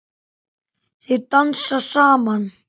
Þau dansa saman.